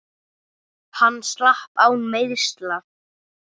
Hann slapp án meiðsla.